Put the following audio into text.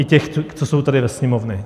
I těch, co jsou tady ve Sněmovně.